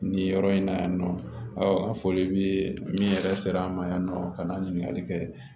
Nin yɔrɔ in na yan nɔ an fɔli bɛ min yɛrɛ sera an ma yan nɔ ka na ɲininkali kɛ